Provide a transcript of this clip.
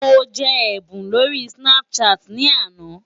Mo jẹ ẹ̀bùn lórí Snapchat ní àná.